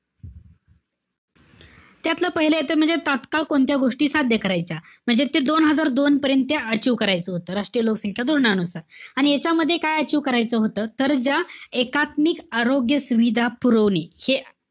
त्यातला पाहिलं ते म्हणजे तात्काळ कोणत्या गोष्टी सध्या करायच्या. म्हणजे ते दोन हजार दोन पर्यंत त्या achieve करायचं होतं. राष्ट्रीय लोकसंख्या धोरणानुसार. आणि ह्यांच्यामध्ये काय achieve करायचं होतं? तर ज्या एकात्मिक आरोग्य सुविधा पुरवली हे,